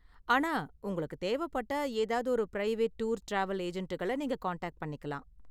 ஆனா, உங்களுக்கு தேவப்பட்டா ஏதாவது ஒரு பிரைவேட் டூர், டிராவல் ஏஜெண்டுகள நீங்க காண்டாக்ட் பண்ணிக்கலாம்.